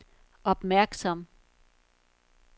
opmærksom